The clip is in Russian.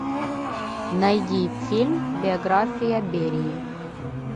найди фильм биография берии